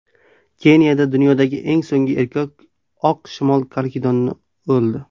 Keniyada dunyodagi eng so‘nggi erkak oq shimol karkidoni o‘ldi.